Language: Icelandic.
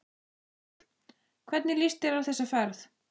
Páll: Hvernig líst þér á þessa ferð?